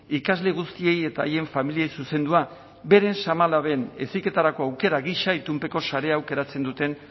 ikasle guztiei eta haien familiek zuzendua beren seme alaben heziketarako aukera gisa itunpeko sarea aukeratzen duten